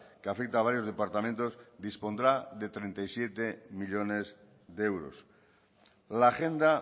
que afecta a varios departamentos dispondrá de treinta y siete millónes de euros la agenda